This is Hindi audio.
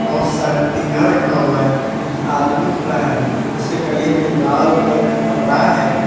बहोत सारा टीना रखा हुआ है एक आदमी खड़ा है उसके गले में लाल कलर का कपरा है।